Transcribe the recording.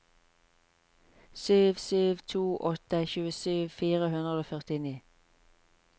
sju sju to åtte tjuesju fire hundre og førtini